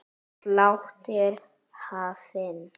Sláttur er hafinn.